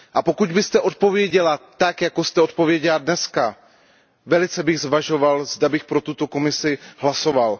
A pokud byste odpověděla tak, jako jste odpověděla dnes, velice bych zvažoval, zda bych pro tuto Komisi hlasoval.